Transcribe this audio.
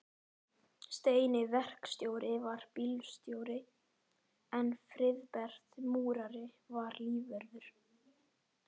Steini verkstjóri var bílstjóri en Friðbert múrari var lífvörður.